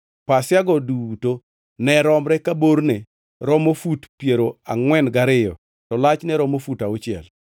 Pasiago duto ne romre ka borne romo fut piero angʼwen gariyo to lachne romo fut auchiel.